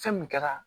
Fɛn min kɛra